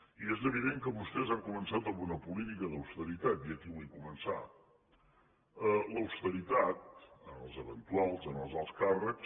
i és evident que vostès han començat amb una política d’austeritat i aquí vull començar l’austeritat en els eventuals en els alts càrrecs